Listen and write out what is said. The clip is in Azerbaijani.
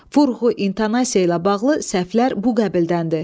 Vurğu, intonasiya ilə bağlı səhvlər bu qəbildəndir.